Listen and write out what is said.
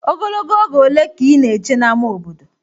Ogologo oge ole ka ị na-eche n'ámá obodo?